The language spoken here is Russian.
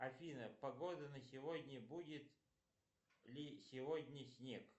афина погода на сегодня будет ли сегодня снег